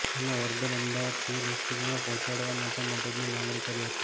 અને organ Ahmedabad civil હોસ્પિટલમાં પહોંચાડવા માટે મદદની માંગણી કરી હતી